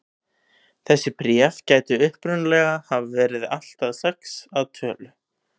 Þessi bréf gætu upprunalega hafa verið allt að sex að tölu.